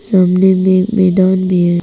सामने में एक मैदान भी है।